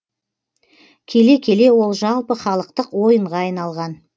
келе келе ол жалпы халықтық ойынға айналған